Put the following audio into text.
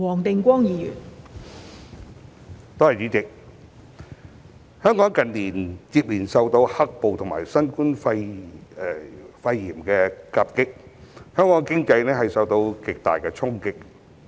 代理主席，本港近年接連受到"黑暴"及新冠肺炎疫情夾擊，經濟受到極大衝擊。